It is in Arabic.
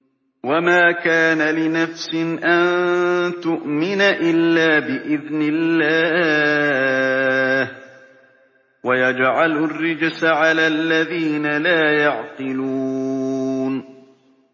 وَمَا كَانَ لِنَفْسٍ أَن تُؤْمِنَ إِلَّا بِإِذْنِ اللَّهِ ۚ وَيَجْعَلُ الرِّجْسَ عَلَى الَّذِينَ لَا يَعْقِلُونَ